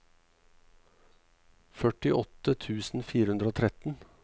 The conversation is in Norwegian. førtiåtte tusen fire hundre og tretten